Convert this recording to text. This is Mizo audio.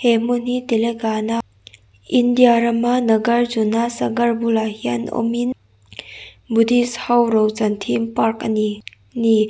he hmun hi telangana india rama nagarjuna sagar bulah hian awmin buddhist ho rochan theme park a ni ni.